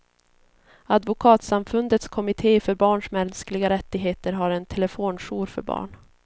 Advokatsamfundets kommitté för barns mänskliga rättigheter har en telefonjour för barn.